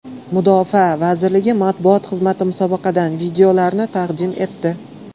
Mudofaa vazirligi matbuot xizmati musobaqadan videolarni taqdim etdi.